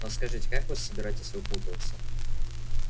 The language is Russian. но скажите как вы собираетесь выпутываться